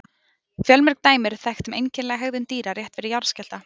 Fjölmörg dæmi eru þekkt um einkennilega hegðun dýra rétt fyrir jarðskjálfta.